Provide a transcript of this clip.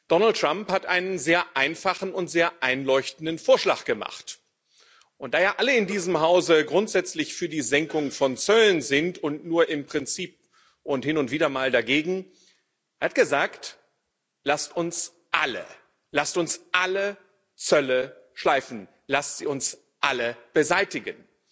Donald Trump hat einen sehr einfachen und sehr einleuchtenden Vorschlag gemacht und da ja alle in diesem Hause grundsätzlich für die Senkung von Zöllen sind und nur im Prinzip und hin und wieder mal dagegen Er hat gesagt, lasst uns alle Zölle schleifen, lasst sie uns alle beseitigen!